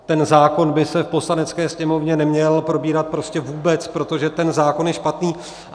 Ten zákon by se v Poslanecké sněmovně neměl probírat prostě vůbec, protože ten zákon je špatný.